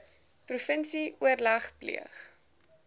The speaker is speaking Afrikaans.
provinsie oorleg pleeg